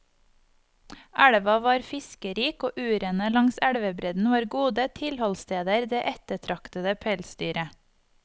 Elva var fiskerik, og urene langs elvebredden var gode tilholdssteder det ettertraktede pelsdyret.